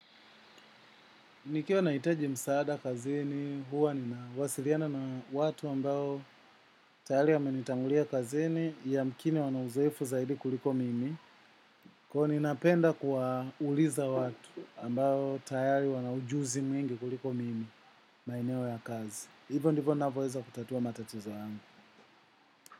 Nikiwa nahitaji msaada kazini, huwa ninawasiliana na watu ambao tayari wamenitangulia kazini, yamkini wana uzoefu zaidi kuliko mimi. Kwaio ninapenda kuwa uliza watu ambao tayari wana ujuzi mwingi kuliko mimi, maeneo ya kazi. Hivyo ndivyo navoeza kutatua matatizo yangu.